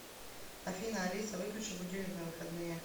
афина алиса выключи будильник на выходные